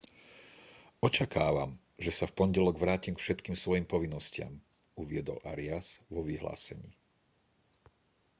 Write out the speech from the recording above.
očakávam že sa v pondelok vrátim k všetkým svojim povinnostiam uviedol arias vo vyhlásení